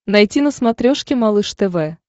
найти на смотрешке малыш тв